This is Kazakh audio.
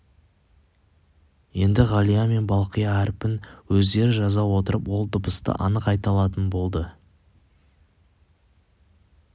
енді ғалия мен балқия әрпін өздері жаза отырып ол дыбысты анық айта алатын болды